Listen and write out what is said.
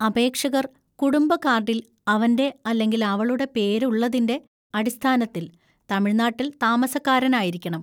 അപേക്ഷകർ കുടുംബ കാർഡിൽ അവന്‍റെ അല്ലെങ്കിൽ അവളുടെ പേര് ഉള്ളതിന്‍റെ അടിസ്ഥാനത്തിൽ തമിഴ്‌നാട്ടിൽ താമസക്കാരനായിരിക്കണം.